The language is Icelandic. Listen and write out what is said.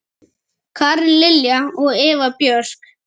Karen Lilja og Eva Björk.